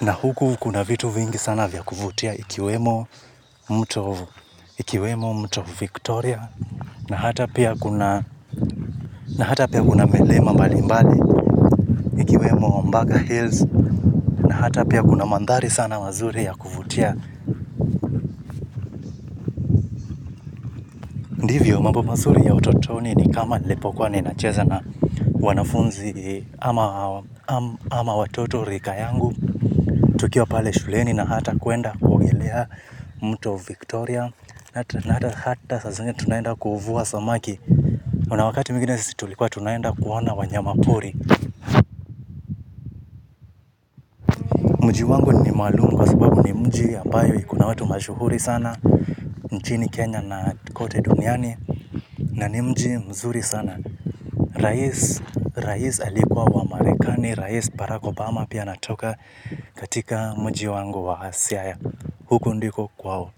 Na huku kuna vitu vingi sana vya kuvutia ikiwemo mto Victoria na hata pia kuna na hata pia kuna milima mbali mbali ikiwemo Mbaga Hills na hata pia kuna mandhari sana mazuri ya kuvutia. Ndivyo mambo mazuri ya utotoni ni kama nilipo kuwa nina cheza na wanafunzi ama watoto rika yangu. Tukiwa pale shuleni na hata kuenda kule mto Victoria. Na hata hata sa zingine tunaenda kuvua samaki kuna wakati mwingine situlikua tunaenda kuona wanyama kuri. Mji wangu ni maalum kwa sababu ni mji ambayo ikona watu mashuhuri sana. Nchini Kenya na kote duniani na ni mji mzuri sana. Rais alikuwa wa marekani, rais Barack Obama pia anatoka katika mji wangu wa siaya. Huko ndiko kwao,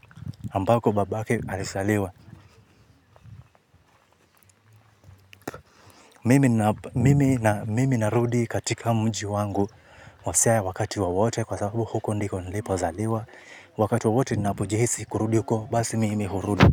ambako babake alizaliwa. Mimi narudi katika mji wangu wa siaya wakati wowote kwa sababu huko ndiko nilipo zaliwa wakati wowote ninapojihisi kurudi huko basi mimi hurudi.